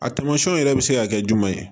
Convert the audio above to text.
A tamasiyɛnw yɛrɛ bɛ se ka kɛ jumɛn ye